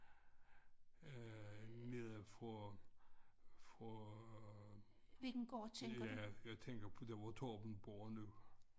Øh nede fra fra ja jeg tænker på der hvor Torben bor nu